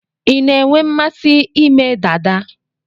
Ị na-enwe mmasị ime dada?